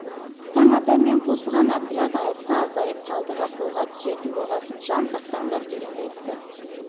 таң ата мен қосылған отряд атыста азайып қалдығы қолға түсетін болғасын жан сақтаңдар дегенді айтты